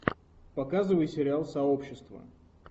показывай сериал сообщество